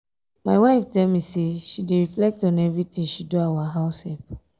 my wife tell me say she dey reflect on everything she do our house help